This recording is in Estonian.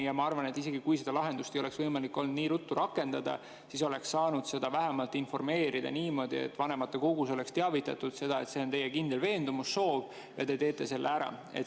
Ja ma arvan, et isegi kui seda lahendust ei oleks võimalik olnud nii ruttu rakendada, siis oleks saanud vähemalt informeerida, vanematekogus teavitada, et see on teie kindel veendumus, soov ja te teete selle ära.